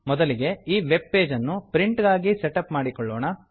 ಮೊದಲಿಗೆ ಈ ವೆಬ್ ಪೇಜನ್ನು ಪ್ರಿಂಟ್ ಗಾಗಿ ಸೆಟ್ ಅಪ್ ಮಾಡಿಕೊಳ್ಳೋಣ